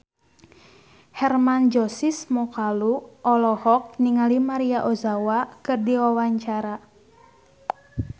Hermann Josis Mokalu olohok ningali Maria Ozawa keur diwawancara